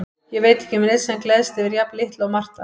Ég veit ekki um neinn sem gleðst yfir jafn litlu og Marta.